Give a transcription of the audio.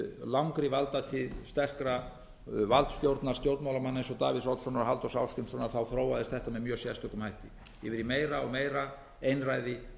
langri valdatíð sterkra valdstjórna stjórnmálamanna eins og davíðs oddssonar og halldórs ásgrímssonar þróaðist þetta með mjög sérstökum hætti yfir í meira og meira einræði